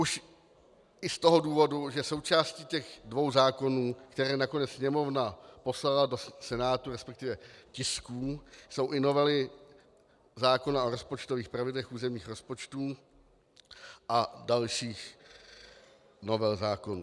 Už i z toho důvodu, že součástí těch dvou zákonů, které nakonec Sněmovna poslala do Senátu, respektive tisků, jsou i novely zákona o rozpočtových pravidlech územních rozpočtů a dalších novel zákonů.